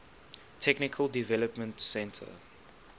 technical development center